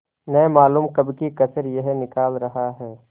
न मालूम कब की कसर यह निकाल रहा है